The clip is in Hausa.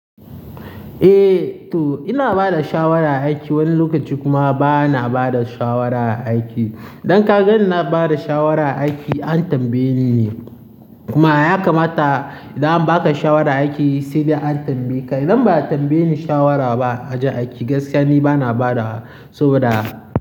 Eh to ina bada shawara a aiki, wani lokaci kuma ba na bada shawara a aiki. Idan ka ga ina bada shawara a aiki an tambaye ni ne. Kuma ya kamata idan ba ka shawara a aiki sai da an tambaye ka. Idan ba a tambaye ni shawara ba a ji a aiki gaskiya ni ba na bada wa saboda.